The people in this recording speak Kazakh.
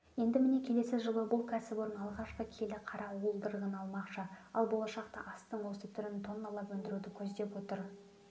енді міне келесі жылы бұл кәсіпорын алғашқы келі қара уылдырығын алмақшы ал болашақта астың осы түрін тонналап өндіруді көздеп отыр